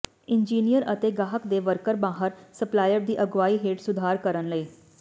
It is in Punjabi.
ਇੰਜੀਨੀਅਰ ਅਤੇ ਗਾਹਕ ਦੇ ਵਰਕਰ ਮਾਹਰ ਸਪਲਾਇਰ ਦੀ ਅਗਵਾਈ ਹੇਠ ਸੁਧਾਰ ਕਰਨ ਲਈ